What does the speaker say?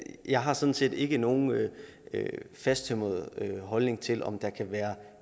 jeg har sådan set ikke nogen fasttømret holdning til om det kan være